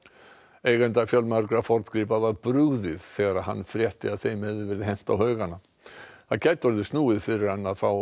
eiganda fjölmargra forngripa var brugðið þegar hann frétti að þeim hefði verið hent á haugana það gæti orðið snúið fyrir hann að fá